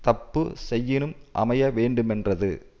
தப்பு செய்யினும் அமைய வேண்டுமென்றது